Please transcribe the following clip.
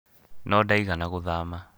No ndaigana gũthama